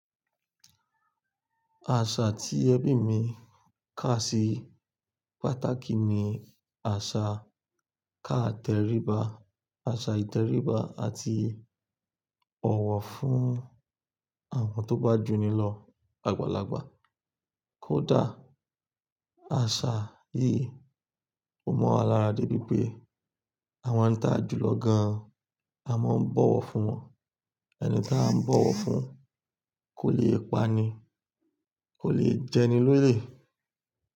Àṣà tí ẹbí mi kà sí pàtàkì ni àṣà káàtẹríba, àṣà ìtẹríba àti ọ̀wọ̀ fún àwọn tó bá jù ni lọ àgbàlagbà. Kódà, àṣà yìí ò mọ wa lara dẹ̀ bíi pé à maa ń ta jù lọ gan-an, a máa ń bọ̀wọ̀ fún wọn. Ẹni tí a ń bọ̀wọ̀ fún kò le pa'ni, kò le jẹni lórí.